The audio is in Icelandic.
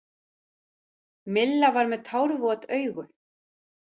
Milla var með tárvot augu.